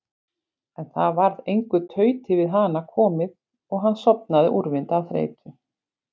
En það varð engu tauti við hana komið og hann sofnaði úrvinda af þreytu.